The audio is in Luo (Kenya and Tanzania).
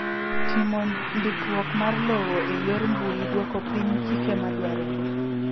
Timo ndikruok mar lowo e yor mbui dwoko piny chike madwarore.